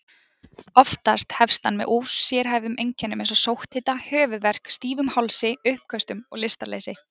Oftast hefst hann með ósérhæfðum einkennum eins og sótthita, höfuðverk, stífum hálsi, uppköstum og lystarleysi.